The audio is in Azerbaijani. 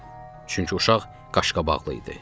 Çünki uşaq qaşqabaqlı idi.